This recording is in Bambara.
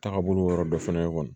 Taagabolo yɔrɔ dɔ fɛnɛ kɔni